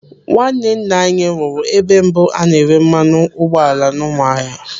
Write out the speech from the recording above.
Nwanne nna anyị rụrụ ebe mbụ a na-ere mmanụ ụgbọala n'Ụmụahịa.